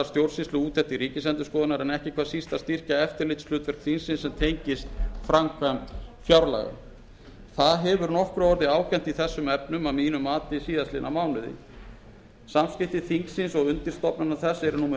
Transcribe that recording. stjórnsýsluúttektir ríkisendurskoðunar en ekki hvað síst styrkja eftirlitshlutverk þingsins sem tengist framkvæmd fjárlaga það hefur nokkru orðið ágengt í þessum efnum að mínu mati síðastliðnum mánuði samskipti þingsins og undirstofnana þess eru nú með